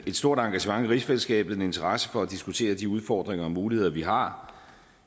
stort engagement i rigsfællesskabet og en interesse for at diskutere de udfordringer og muligheder vi har